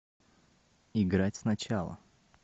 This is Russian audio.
играть сначала